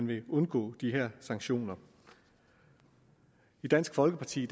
vil undgå de her sanktioner i dansk folkeparti